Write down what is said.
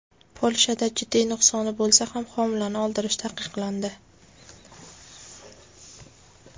Polshada jiddiy nuqsoni bo‘lsa ham homilani oldirish taqiqlandi.